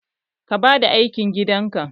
Ka bada aikin gidan ka?